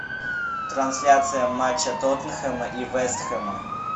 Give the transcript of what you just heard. трансляция матча тоттенхэма и вест хэма